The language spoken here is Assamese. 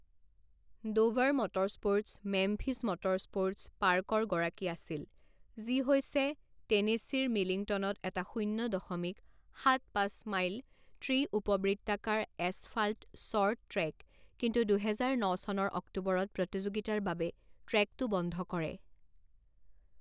ডোভাৰ মটৰস্প'ৰ্টছ মেমফিছ মটৰস্প'ৰ্টচ পাৰ্কৰ গৰাকী আছিল যি হৈছে টেনেচীৰ মিলিংটনত এটা শূণ্য দশমিক সাত পাঁচ মাইল ত্ৰি উপবৃত্তাকাৰ এছফাল্ট শ্বৰ্ট ট্ৰেক কিন্তু দুহেজাৰ ন চনৰ অক্টোবৰত প্ৰতিযোগিতাৰ বাবে ট্ৰেকটো বন্ধ কৰে।